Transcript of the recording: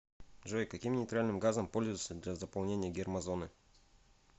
джой каким нейтральным газом пользуются для заполнения гермозоны